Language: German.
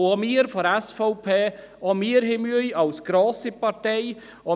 Auch wir von der SVP, auch wir als grosse Partei, haben Mühe.